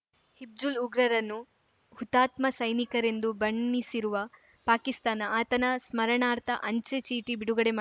ಹಿಜ್ಬುಲ್‌ ಉಗ್ರರನ್ನು ಹುತಾತ್ಮ ಸೈನಿಕರೆಂದು ಬಣ್ಣಿಸಿರುವ ಪಾಕಿಸ್ತಾನ ಆತನ ಸ್ಮರಣಾರ್ಥ ಅಂಚೆ ಚೀಟಿ ಬಿಡುಗಡೆ ಮಾ